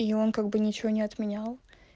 и он как бы ничего не отменял